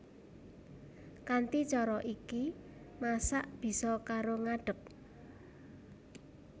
Kanthi cara iki masak bisa karo ngadég